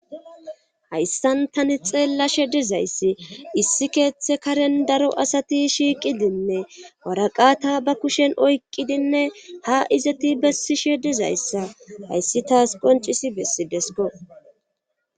hayssan tani xeellashe dizayssi issi keeththe karen daro asati shiiqidinne waraqata ba kushen oyqidinne ha izati bessishe dizayssa hayssi taas qoncisi bessi desko